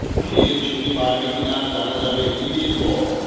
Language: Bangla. ফের ছুটি বাড়বে কি না জানা যাবে ঈদের পর